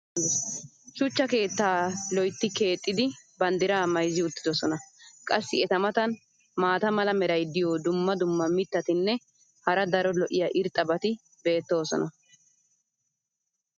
shuchcha keettaa lotti keexxidi banddiraa mayzzi uttidosona. qassi eta matan maata mala meray diyo dumma dumma mitatinne hara daro lo'iya irxxabati beetoosona.